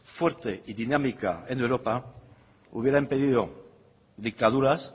fuerte y dinámica en europa hubiera impedido dictaduras